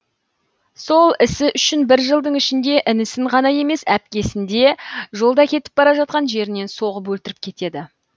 сол ісі үшін бір жылдың ішінде інісін ғана емес әпкесінде жолда кетіп бара жатқан жерінен соғып өлтіріп кетеді